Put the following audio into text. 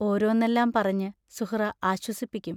ഓരോന്നെല്ലാം പറഞ്ഞ് സുഹ്റാ ആശ്വസിപ്പിക്കും.